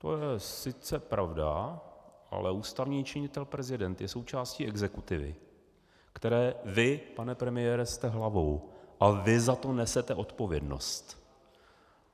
To je sice pravda, ale ústavní činitel prezident je součástí exekutivy, které vy, pane premiére, jste hlavou, a vy za to nesete odpovědnost.